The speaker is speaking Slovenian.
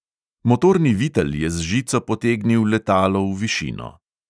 Motorni vitel je z žico potegnil letalo v višino.